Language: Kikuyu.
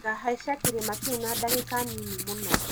Ngahaica kĩrĩma kĩu na dagĩka nini mũno.